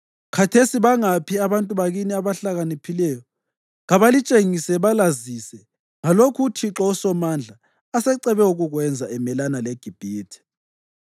Khathesi bangaphi abantu bakini abahlakaniphileyo? Kabalitshengise balazise ngalokhu uThixo uSomandla asecebe ukukwenza emelana leGibhithe.